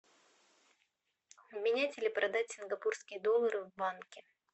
обменять или продать сингапурские доллары в банке